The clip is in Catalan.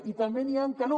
i també n’hi han que no